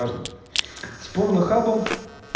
с порнхаба